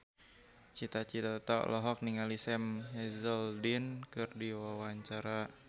Cita Citata olohok ningali Sam Hazeldine keur diwawancara